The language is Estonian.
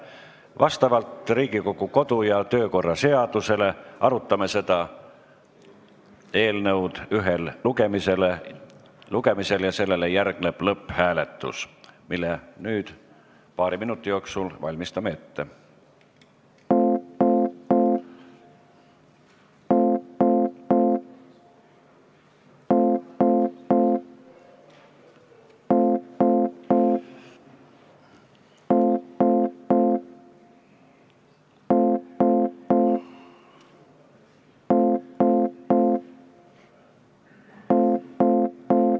Vastavalt Riigikogu kodu- ja töökorra seadusele arutame seda eelnõu ühel lugemisel ja sellele järgneb lõpphääletus, mille nüüd paari minuti jooksul ette valmistame.